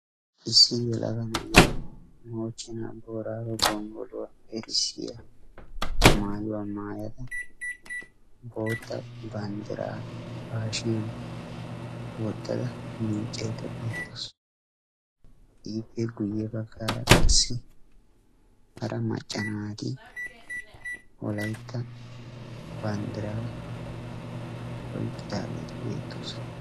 issi yelaga na'iya moochchena boorago gonggoluwaa bessiyaa maayuwa maayyada bootta banddira ba hashshiyan wottada miiccaydda beetaawus, ippe guyye baggara qassi hara macca naati wolaytta banddiraa oyqqidageeti beettoosona.